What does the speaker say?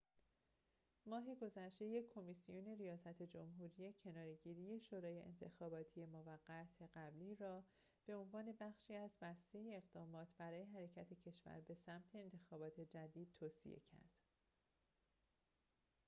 ماه گذشته یک کمیسیون ریاست جمهوری کناره‌گیری شورای انتخاباتی موقت قبلی را به عنوان بخشی از بسته اقدامات برای حرکت کشور به سمت انتخابات جدید توصیه کرد